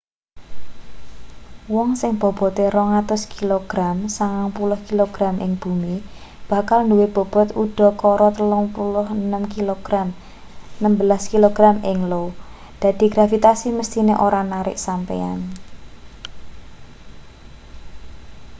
wong sing bobote 200 kilogram 90kg ing bumi bakal nduwe bobot udakara 36 kilogram 16kg ing io. dadi gravitasi mesthine ora narik sampeyan